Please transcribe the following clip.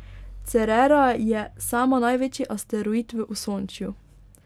Cerera je sama največji asteroid v Osončju.